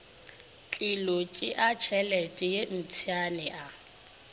tlilo tšeatšhelete ye mpšane a